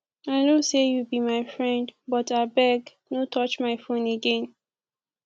i no say you be my friend but abeg no touch my phone again